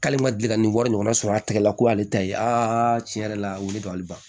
K'ale ma deli ka nin wari ɲɔgɔnna sɔrɔ a tɛgɛ la ko ale ta ye tiɲɛ yɛrɛ la wuli ka ban